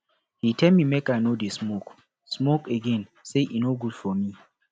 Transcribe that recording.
he tell me make i no dey smoke smoke again say e no good for me